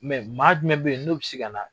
Mɛ maa jumɛn bɛ yen n'o bɛ se ka na